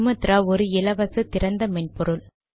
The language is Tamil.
சுமாத்ரா ஒரு இலவச திறந்த மென்பொருள்